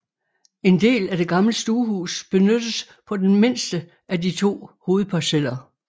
En del af det gamle stuehus benyttes på den mindste af de to hovedparceller